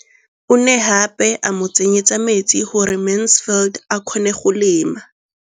O ne gape a mo tsenyetsa metsi gore Mansfield a kgone go lema.